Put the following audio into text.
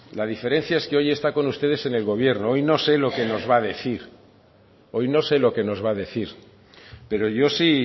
la diferencia es que hoy está con ustedes en el gobierno hoy no sé lo que nos va a decir hoy no sé lo que nos va a decir pero yo sí